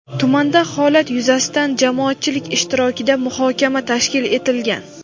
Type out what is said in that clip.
tumanda holat yuzasidan jamoatchilik ishtirokida muhokama tashkil etilgan.